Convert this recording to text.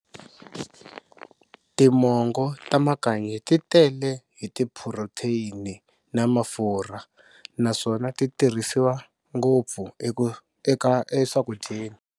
Timongo ta makanyi ti tele hi ti phurotheyini na mafurha naswona ti tirhisiwa ngopfu e swakudyeni.